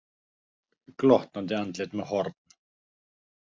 Glottandi andlit með horn.